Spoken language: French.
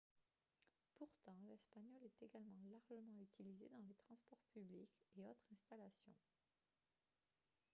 pourtant l'espagnol est également largement utilisé dans les transports publics et autres installations